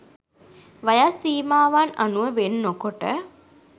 වයස් සීමාවන් අනුව වෙන් නොකොට